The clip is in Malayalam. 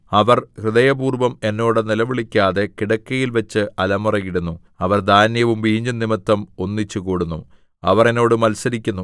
അവർ ഹൃദയപൂർവ്വം എന്നോട് നിലവിളിക്കാതെ കിടക്കയിൽവച്ച് അലമുറയിടുന്നു അവർ ധാന്യവും വീഞ്ഞും നിമിത്തം ഒന്നിച്ചുകൂടുന്നു അവർ എന്നോട് മത്സരിക്കുന്നു